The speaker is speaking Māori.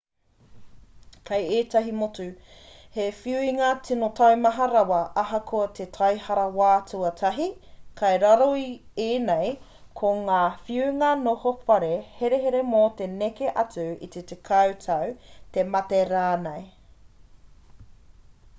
kei ētahi motu he whiunga tino taumaha rawa ahakoa he taihara wā tuatahi kei roto i ēnei ko ngā whiunga noho whare herehere mō te neke atu i te 10 tau te mate rānei